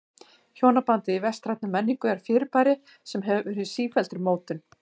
Hjónabandið í vestrænni menningu er fyrirbæri sem hefur verið í sífelldri mótun.